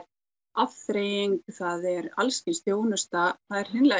afþreying það er alls kyns þjónusta það er